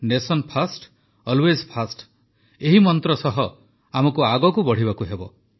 ନେସନ୍ first always first ଏହି ମନ୍ତ୍ର ସହ ଆମକୁ ଆଗକୁ ବଢ଼ିବାକୁ ହେବ